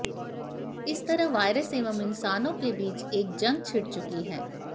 इस तरह वायरस एवं इंसानों के बीच एक जंग छिड़ चुकी है